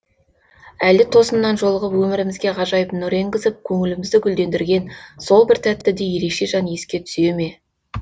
әлде тосыннан жолығып өмірімізге ғажайып нұр енгізіп көңілімізді гүлдендірген сол бір тәтті де ерекше жан еске түсеме